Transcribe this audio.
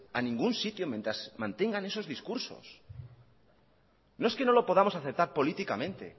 a ningún sitio mientras mantengan esos discursos no es que no lo podamos aceptar políticamente